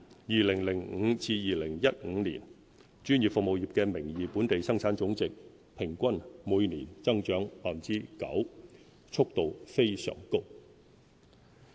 2005年至2015年，專業服務業的名義本地生產總值平均每年增長 9.0%， 速度非常高。